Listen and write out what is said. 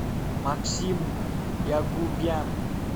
максим ягубян